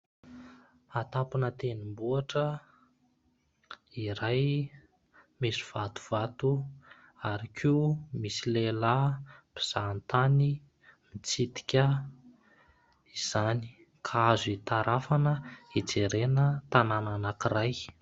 Atampona tendrombohitra iray misy vatovato ary koa misy lehilahy mpizahatany mitsidika izany ka azo itarafana hijerena tanana anankiray.